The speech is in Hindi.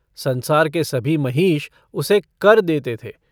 संसार के सभी महीष उसे कर देते थे।